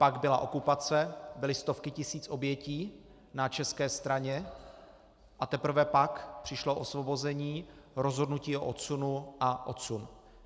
Pak byla okupace, byly stovky tisíc obětí na české straně, a teprve pak přišlo osvobození, rozhodnutí o odsunu a odsun.